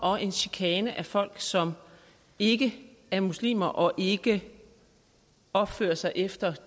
og en chikane af folk som ikke er muslimer og ikke opfører sig efter